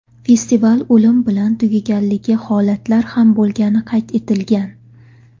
Festival o‘lim bilan tugaganligi holatlar ham bo‘lgani qayd etilgan.